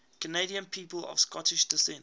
canadian people of scottish descent